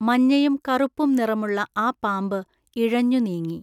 മഞ്ഞയും കറുപ്പും നിറമുള്ള ആ പാമ്പ് ഇഴഞ്ഞു നീങ്ങി.